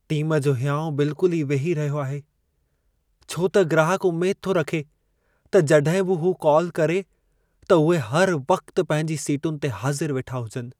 Team जो हियांउ बिल्कुल ई वेही रहियो आहे, छो त ग्राहक उमेद थो रखे त जड॒हिं बि हू कॉल करे, त उहे हर वक़्ति पंहिंजी सीटुनि ते हाज़िर वेठा हुजनि।